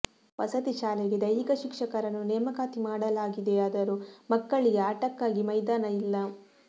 ವಸತಿ ಶಾಲೆಗೆ ದೈಹಿಕ ಶಿಕ್ಷಕರನ್ನು ನೇಮಕಾತಿ ಮಾಡಲಾಗಿದೆಯಾದರೂ ಮಕ್ಕಳಿಗೆ ಆಟಕ್ಕಾಗಿ ಮೈದಾನ ಇಲ್ಲ